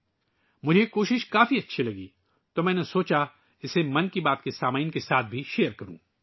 مجھے یہ کاوش بہت پسند آئی، اس لئے میں نے سوچا، اسے ' من کی بات ' کے سننے والوں کے ساتھ شیئر کروں